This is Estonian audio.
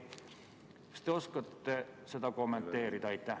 Kas te oskate seda kommenteerida?